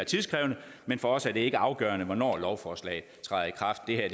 tidskrævende men for os er det ikke afgørende hvornår lovforslaget træder i kraft det her